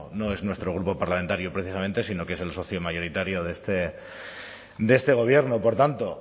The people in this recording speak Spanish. no es nuestro grupo parlamentario precisamente sino que es el socio mayoritario de este gobierno por tanto